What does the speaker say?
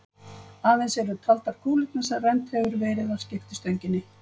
Aðeins eru taldar kúlurnar sem rennt hefur verið að skiptistönginni.